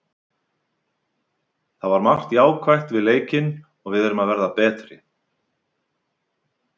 Það var margt jákvætt við leikinn og við erum að verða betri.